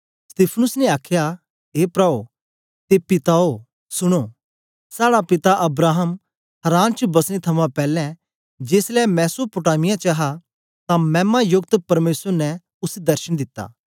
स्तिफनुस ने आखया ए प्राओ ते पिताओ सुनो साड़ा पिता अब्राहम हारान च बसने थमां पैलैं जेसलै मेसोपोटामिया च हा तां मैमा योकत परमेसर ने उसी दर्शन दिता